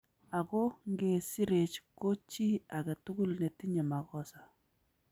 Ago nge sireech ko chi age tugul ne tinye makosa